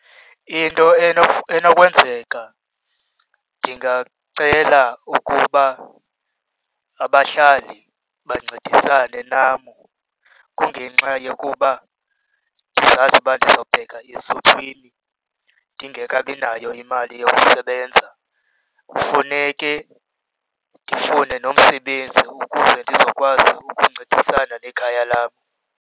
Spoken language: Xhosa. Into enokwenzeka ndingacela ukuba abahlali bancedisane nam, kungenxa yokuba ndizazi uba ndizawubheka esuthwini ndingekabi nayo imali yokusebenza. Kufuneke ndifune nomsebenzi ukuze ndizokwazi ukuncedisana nekhaya lam.